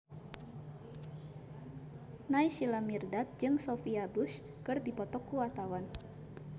Naysila Mirdad jeung Sophia Bush keur dipoto ku wartawan